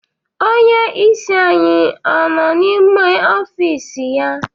Onyeisi anyị ọ nọ n'ime ọfịịsị ya?